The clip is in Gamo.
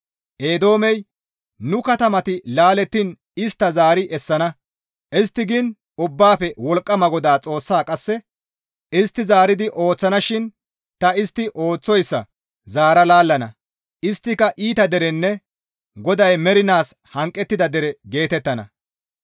Eedoomey, «Nu katamati laalettiin istta zaari essana» istti giin Ubbaafe Wolqqama GODAA Xoossa qasse, «Istti zaaridi ooththana shin ta istti ooththoyssa zaara laallana; isttika, ‹Iita derenne GODAY mernaas hanqettida dere geetettana.›